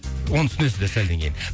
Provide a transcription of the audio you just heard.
оны түсінесіздер сәлден кейін